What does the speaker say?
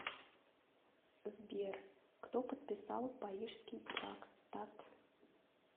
сбер кто подписал парижский трактат